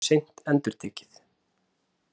Það verður seint endurtekið.